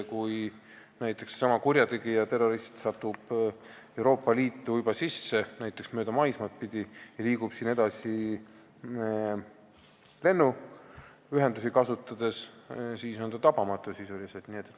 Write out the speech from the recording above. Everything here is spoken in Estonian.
Kui näiteks kurjategija, terrorist, on juba sattunud maismaad pidi Euroopa Liitu ja liigub siin edasi lennuühendusi kasutades, siis on ta sisuliselt tabamatu.